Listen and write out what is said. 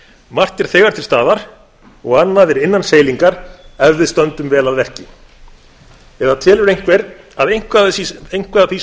margt er þegar til staðar og annað er innan seilingar ef við stöndum vel að verki eða telur einhver að eitthvað af því sem ég